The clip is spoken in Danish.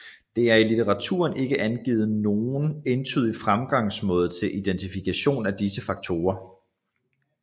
Der er i litteraturen ikke angivet nogen entydig fremgangsmåde til identifikation af disse faktorer